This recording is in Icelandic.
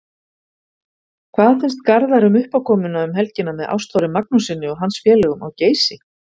Hvað finnst Garðari um uppákomuna um helgina með Ástþóri Magnússyni og hans félögum á Geysi?